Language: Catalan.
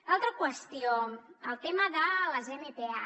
l’altra qüestió el tema de les mpa